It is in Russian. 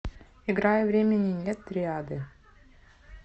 играй времени нет триады